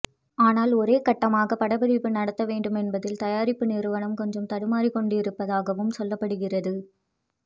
ஆனால் ஒரேகட்டமாகப் படப்பிடிப்பு நடத்தவேண்டும் என்பதால் தயாரிப்புநிறுவனம் கொஞ்சம் தடுமாறிக்கொண்டிருப்பதாகவும் சொல்லப்படுகிறது